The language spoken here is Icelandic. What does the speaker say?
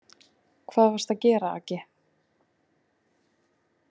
Hvað varstu að gera, Aggi.